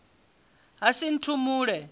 hasinthumule